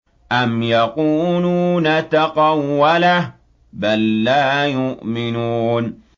أَمْ يَقُولُونَ تَقَوَّلَهُ ۚ بَل لَّا يُؤْمِنُونَ